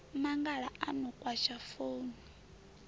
mangala a no kwasha founu